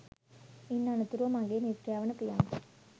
ඉන් අනතුරුව මගේ මිත්‍රයා වන ප්‍රියන්ත